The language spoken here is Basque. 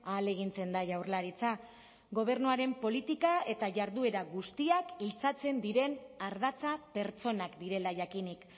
ahalegintzen da jaurlaritza gobernuaren politika eta jarduera guztiak iltzatzen diren ardatza pertsonak direla jakinik